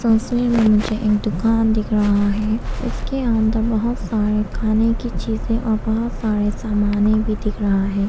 ऐसे में मुझे एक दुकान दिख रहा है उसके अंदर बहुत सारे खाने की चीजें और बहुत सारे सामाने भी दिख रहा है।